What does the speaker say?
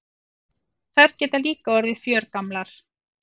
Þær geta líka orðið fjörgamlar.